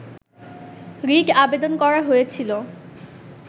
writ আবেদন করা হয়েছিল